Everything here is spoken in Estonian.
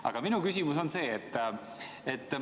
Aga minu küsimus on järgmine.